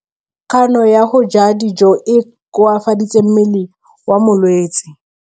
Kganô ya go ja dijo e koafaditse mmele wa molwetse.